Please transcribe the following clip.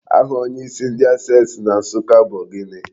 Aha onyeisi ndị Access Bank na Nsụka bu gịnị?